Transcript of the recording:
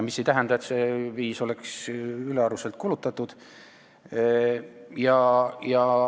Mis ei tähenda, et see 5 miljonit oleks ülearuselt kulutatud.